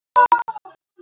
Sú er sterk, maður!